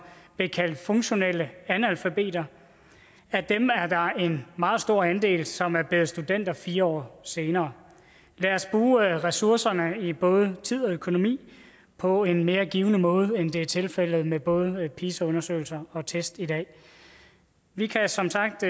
blev kaldt funktionelle analfabeter er der en meget stor andel som er blevet studenter fire år senere lad os bruge ressourcerne i både tid og økonomi på en mere givende måde end det er tilfældet med både pisa undersøgelser og test i dag vi kan som sagt